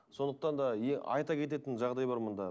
сондықтан да айта кететін жағдай бар мұнда